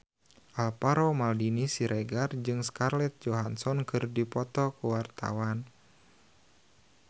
Alvaro Maldini Siregar jeung Scarlett Johansson keur dipoto ku wartawan